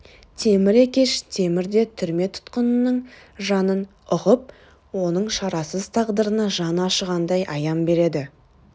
темір екеш темір де түрме тұтқынының жанын ұғып оның шарасыз тағдырына жаны ашығандай аян береді